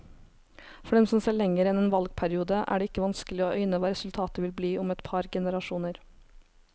For dem som ser lenger enn en valgperiode, er det ikke vanskelig å øyne hva resultatet vil bli om et par generasjoner.